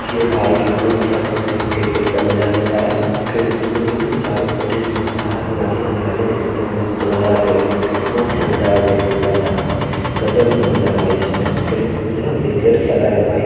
ये भाई कितने अच्छे से क्रिकेट का मजा ले रहा है फिल्ड मे है चारो पट्टी में मजा आ रहा है हरियाली हरियाली देखने मे मस्त लग रहा देखने मे कितना अछा नजारा देखने मे लग रहा भाई गजब का नजारा है इसमें फिल्ड मे जो है ना क्रिकेट खेल रहा है भाई ।